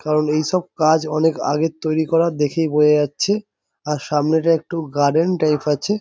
কারণ এই সব কাজ অনেক আগের তৈরি কর দেখেই বোঝা যাচ্ছে আর সামনে টা একটু গার্ডেন টাইপ আছে।